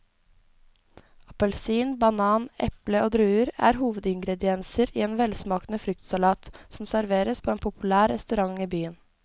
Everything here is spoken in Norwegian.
Appelsin, banan, eple og druer er hovedingredienser i en velsmakende fruktsalat som serveres på en populær restaurant i byen.